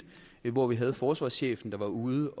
hvor det var forsvarschefen der var ude